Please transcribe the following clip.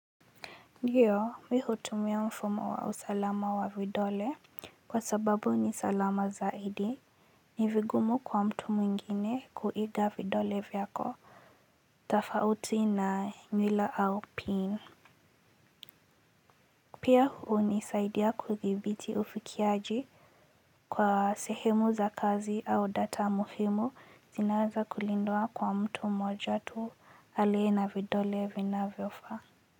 Ndiyo mimi hutumia mfumo wa usalama wa vidole kwa sababu ni salama zaidi ni vigumu kwa mtu mwingine kuiga vidole vyako tofauti na nywila au pin pia hunisaidia kuthibiti ufikiaji kwa sehemu za kazi au data muhimu zinaweza kulindwa kwa mtu mmoja tu aliye na vidole vinavyofa.